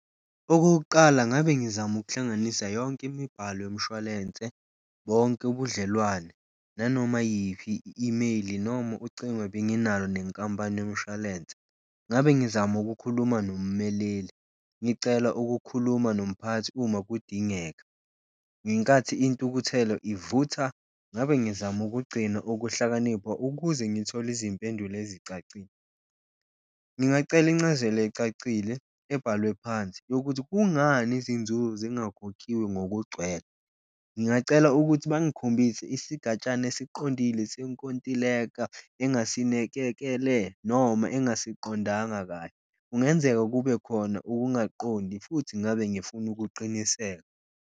Okokuqala ngabe ngizama ukuhlanganisa yonke imibhalo yomshwalense, bonke ubudlelwane nanoma yiphi i-imeyili noma ucingo ebenginalo nenkampani yomshwalense. Ngabe ngizama ukukhuluma nommeleli ngicela ukukhuluma nomphakathi uma kudingeka, ngenkathi intukuthelo ivutha ngabe ngizama ukugcina ukuhlakanipha ukuze ngithole izimpendulo ezicacile. Ngingacela incazelo ecacile ebhalwe phansi yokuthi kungani izinzuzo zingakhokhiwe ngokugcwele, ngingacela ukuthi bangikhombise isigatshana esiqondile senkontileka noma engasiqondanga kahle. Kungenzeka kube khona ukungaqondi futhi ngabe ngifuna ukuqiniseka.